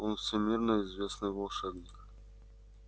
он всемирно известный волшебник